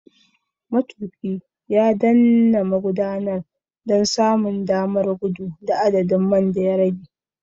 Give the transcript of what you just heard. Matuƙi ya danna magudanar don samun damar gudu da adadin man da ya rage.